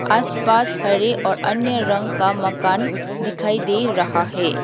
आसपास हरे और अन्य रंग का मकान दिखाई दे रहा है।